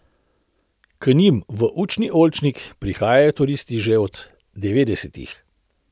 K njim v učni oljčnik prihajajo turisti že od devetdesetih.